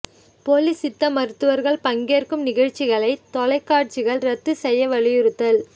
போலி சித்த மருத்துவர்கள் பங்கேற்கும் நிகழ்ச்சிகளை தொலைக்காட்சிகள் ரத்து செய்ய வலியுறுத்தல்